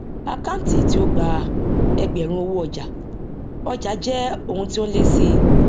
àkántì tí ó gba ẹgbẹrún owó ọjà ọjà jẹ oun tó n lẹ síi